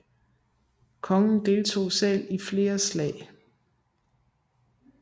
Kongen deltog selv i flere slag